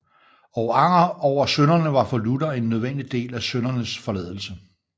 Og anger over synderne var for Luther en nødvendig del af syndernes forladelse